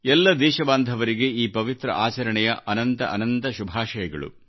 ಎಲ್ಲ ದೇಶಬಾಂಧವರಿಗೆ ಈ ಪವಿತ್ರಆಚರಣೆಯ ಅನಂತ ಅನಂತ ಶುಭಾಶಯಗಳು